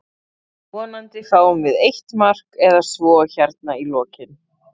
Vonandi fáum við eitt mark eða svo hérna í lokinn.